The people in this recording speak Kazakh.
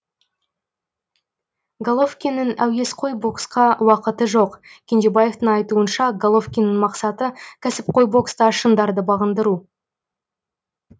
головкиннің әуесқой боксқа уақыты жоқ кенжебаевтың айтуынша головкиннің мақсаты кәсіпқой бокста шыңдарды бағындыру